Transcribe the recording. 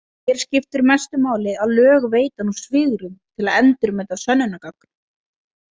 Hér skiptir mestu máli að lög veita nú svigrúm til að endurmeta sönnunargögn.